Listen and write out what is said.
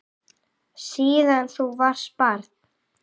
Síðan þú varst barn.